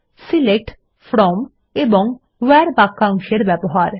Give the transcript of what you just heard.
select from এবং where বাক্যাংশ এর ব্যবহার